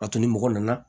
A to ni mɔgɔ nana